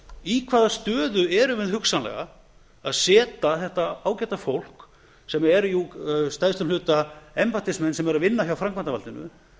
í hvaða stöðu erum við hugsanlega að setja þetta ágæta fólk sem er að stærstum hluta embættismenn sem eru að vinna hjá framkvæmdarvaldinu